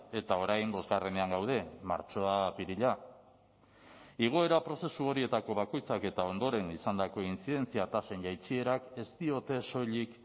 eta orain bosgarrenean gaude martxoa apirila igoera prozesu horietako bakoitzak eta ondoren izandako intzidentzia tasen jaitsierak ez diote soilik